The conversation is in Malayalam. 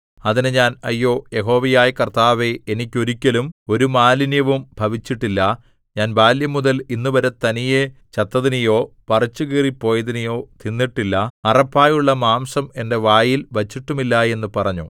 അതിന് ഞാൻ അയ്യോ യഹോവയായ കർത്താവേ എനിക്ക് ഒരിക്കലും ഒരു മാലിന്യവും ഭവിച്ചിട്ടില്ല ഞാൻ ബാല്യംമുതൽ ഇന്നുവരെ തനിയെ ചത്തതിനെയോ പറിച്ചുകീറിപ്പോയതിനെയോ തിന്നിട്ടില്ല അറപ്പായുള്ള മാംസം എന്റെ വായിൽ വച്ചിട്ടുമില്ല എന്ന് പറഞ്ഞു